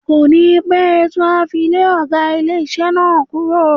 Kò ní pẹ́ tí wọ́n á fi lé ọ̀gá ilé iṣẹ́ náà kúrò.